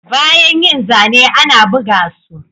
Bayan yin zane ana buga su